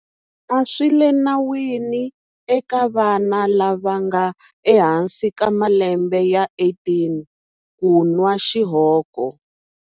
A swi le nawini eka vana lava nga ehansi ka malembe ya 18 ku nwa xihoko.